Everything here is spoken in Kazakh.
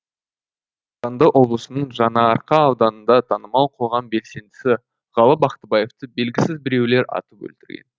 қарағанды облысының жаңаарқа ауданында танымал қоғам белсендісі ғалы бақтыбаевты белгісіз біреулер атып өлтірген